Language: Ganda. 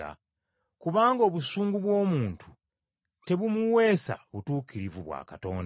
Kubanga obusungu bw’omuntu tebumuweesa butuukirivu bwa Katonda.